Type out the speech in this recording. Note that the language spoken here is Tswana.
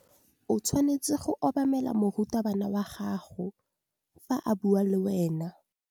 O tshwanetse go obamela morutabana wa gago fa a bua le wena.